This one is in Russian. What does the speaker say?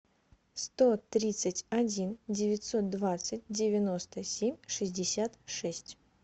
сто тридцать один девятьсот двадцать девяносто семь шестьдесят шесть